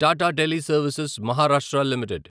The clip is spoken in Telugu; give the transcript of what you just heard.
Tata Teleservices Maharashtra limited